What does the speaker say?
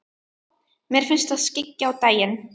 Mér finnst það skyggja á daginn.